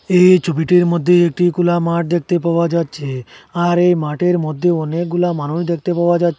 এই ছবিটির মদ্যে একটি খুলা মাঠ দেখতে পাওয়া যাচ্ছে আর এই মাঠের মদ্যে অনেকগুলা মানুষ দেখতে পাওয়া যাচ্ছে।